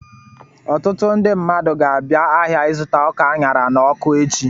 Ọtụtụ ndị mmadụ ga-abịa ahịa ịzụta ọka a ṅara n'ọkụ echi.